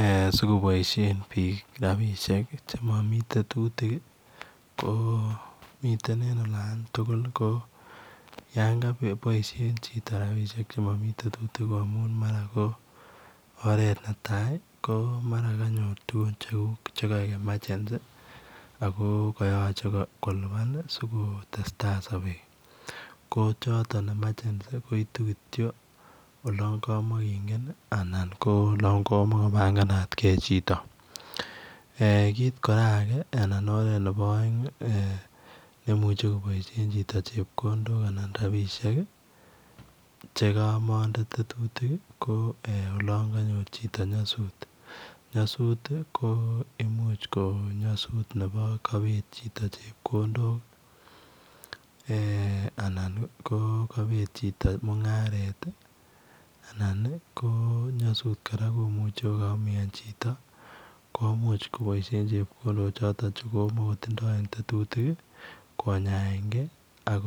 Eeh sikoboisien biik ko miten en olaan tugul ko yaan ka boisein chitoo rapinik che mamii tetutik ko mara ko oret ne tai ko mara tuguun che mara kaeg [emergency] ako kayachei kolupaan ii sikotestai sabeet ko chotoon [emergency] koituu kityoi olaan kamakingeen ko noon koma kobanganat chitoo kit age kora ne baisheen chitoo che kamande tetutik ko olaan kanyoor chitoo nyasuut ko imuuch ko nyasuut kaibet chito chepkondook eeh anan ko ko kabet chitoo mungaret nyasuut kora komuchei ko kaimian chitoo komuchei koboisien chitoo chekomakontinyei en tetutik konyaen gei ii ak